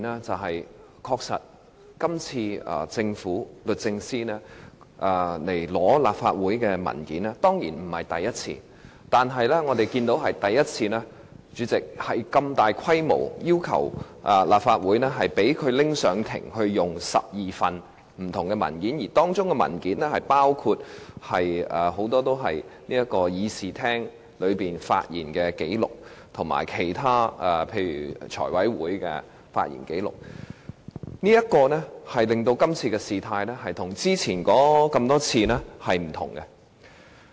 的確，律政司向立法會索取文件不是第一次，但是，代理主席，我們是第一次看到律政司如此大規模要求向立法會索取12份不同的文件，而當中包括很多是議員在立法會會議發言的紀錄，以及其他例如財務委員會的發言紀錄，令這次的事態與以往多次不相同。